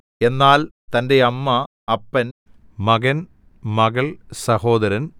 എന്നാൽ തന്റെ അമ്മ അപ്പൻ മകൻ മകൾ സഹോദരൻ